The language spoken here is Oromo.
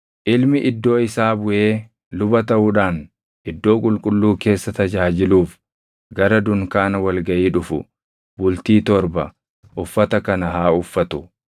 Ilmi iddoo isaa buʼee luba taʼuudhaan Iddoo Qulqulluu keessa tajaajiluuf gara dunkaana wal gaʼii dhufu bultii torba uffata kana haa uffatu.